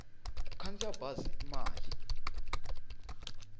ku khandziya bazi i mali